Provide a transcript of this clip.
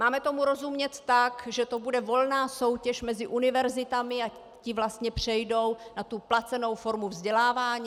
Máme tomu rozumět tak, že to bude volná soutěž mezi univerzitami a ty vlastně přejdou na tu placenou formu vzdělávání?